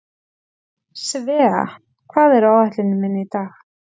Svea, hvað er á áætluninni minni í dag?